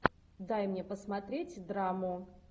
дай мне посмотреть драму